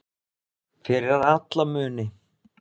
Fyrir alla muni.